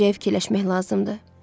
Gələcəyi fikirləşmək lazımdır.